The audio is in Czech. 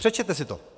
Přečtěte si to.